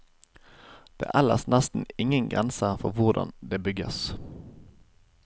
Det er ellers nesten ingen grenser for hvordan det bygges.